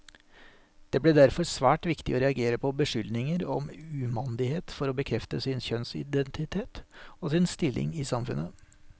Det ble derfor svært viktig å reagere på beskyldninger om umandighet for å bekrefte sin kjønnsidentitet, og sin stilling i samfunnet.